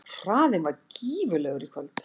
Hraðinn var gífurlegur í kvöld